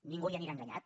ningú hi anirà enganyat